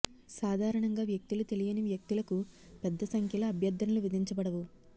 సాధారణంగా వ్యక్తులు తెలియని వ్యక్తులకు పెద్ద సంఖ్యలో అభ్యర్థనలు విధించబడవు